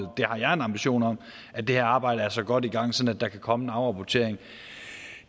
ambition om at det her arbejde er så godt i gang sådan at der kan komme en afrapportering